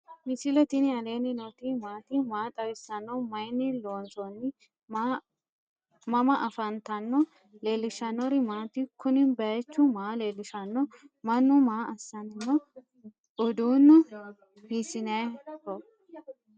misile tini alenni nooti maati? maa xawissanno? Maayinni loonisoonni? mama affanttanno? leelishanori maati? kuuni bayichu maa lelishano? manu maa asani no?uudunu hisinayiho